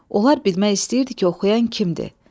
Onlar bilmək istəyirdi ki, oxuyan kimdir?